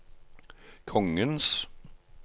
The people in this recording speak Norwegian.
kongens